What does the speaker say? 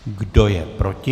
Kdo je proti?